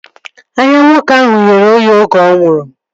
Anya nwoke ahụ ghere oghe oge ọ nwụrụ